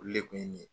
Olu le kun ye nin ye